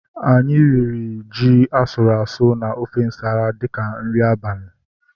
Anyị riri nri ji asụrụ asụ na ofe nsala dịka nri abalị